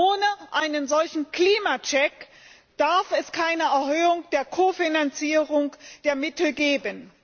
Ohne einen solchen Klimacheck darf es keine Erhöhung der Kofinanzierung, der Mittel geben.